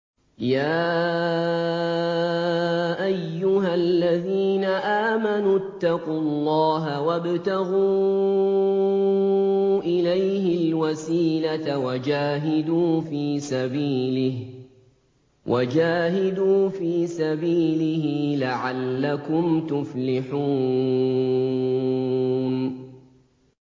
يَا أَيُّهَا الَّذِينَ آمَنُوا اتَّقُوا اللَّهَ وَابْتَغُوا إِلَيْهِ الْوَسِيلَةَ وَجَاهِدُوا فِي سَبِيلِهِ لَعَلَّكُمْ تُفْلِحُونَ